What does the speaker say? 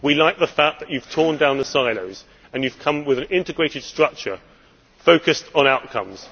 We like the fact that you have torn down the silos and have come up with an integrated structure focused on outcomes.